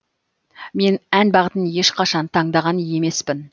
мен ән бағытын ешқашан таңдаған емеспін